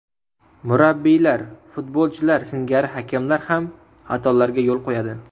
Murabbiylar, futbolchilar singari hakamlar ham xatolarga yo‘l qo‘yadi.